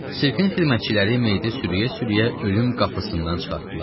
Sirkin xidmətçiləri meyiti sürüyə-sürüyə ölüm qapısından çıxartdılar.